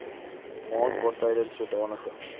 maand waartydens sodanige